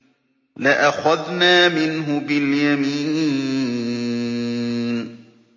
لَأَخَذْنَا مِنْهُ بِالْيَمِينِ